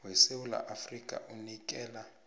wesewula afrika unikela